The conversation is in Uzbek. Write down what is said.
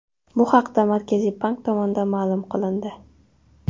Bu haqda Markaziy bank tomonidan ma’lum qilindi .